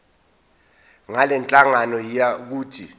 ngalenhlangano yiya kut